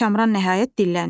Kamran nəhayət dilləndi.